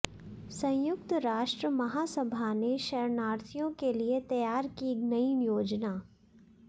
संयुक्त राष्ट्र महासभा ने शरणार्थियों के लिए तैयार की नई योजना